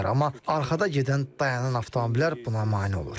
Amma arxada gedən dayanan avtomobillər buna mane olur.